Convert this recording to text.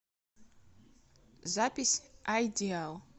запись айдиал